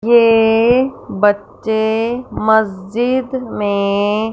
ये बच्चे मस्जिद में--